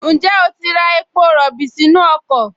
Ǹjẹ́ o ti ra epo rọ̀bì sínú ọkọ̀?